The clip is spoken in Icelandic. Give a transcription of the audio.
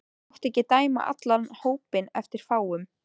Þú mátt ekki dæma allan hópinn eftir fáum.